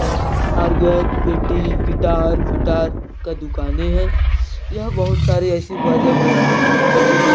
अरगड़ पेटी गिटार सितार का दुकानें हैं यहाँ बहुत सारी ऐसी बाजा बजाने की सामान मिलता है।